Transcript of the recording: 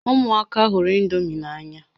Ụmụaka hụrụ indomi n'anya